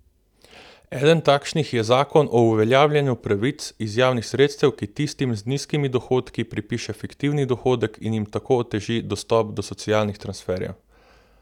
Eden takšnih je zakon o uveljavljanju pravic iz javnih sredstev, ki tistim z nizkimi dohodki pripiše fiktivni dohodek in jim tako oteži dostop do socialnih transferjev.